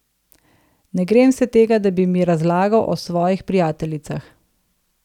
Ne grem se tega, da bi mi razlagal o svojih prijateljicah.